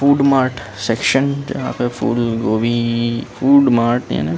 food mart section जहाँ पे फूल गोभी फ़ूड मार्ट एन